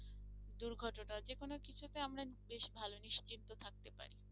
দুর্ঘটনা যে কোনো কিছু তে আমরা বেশ ভালো নিশ্চিন্ত থাকতে পারি